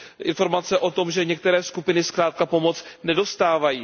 Informacemi o tom, že některé skupiny zkrátka pomoc nedostávají.